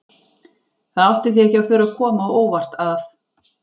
Það átti því ekki að þurfa að koma á óvart að